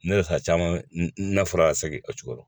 Ne yɛrɛ ta caman na fɔra ka segin o cogo re la